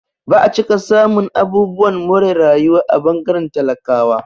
Ba'a cika samun abubuwan more rayuwa a ɓangaren talakawa